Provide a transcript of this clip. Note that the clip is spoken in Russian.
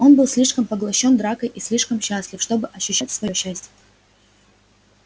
он был слишком поглощён дракой и слишком счастлив чтобы ощущать своё счастье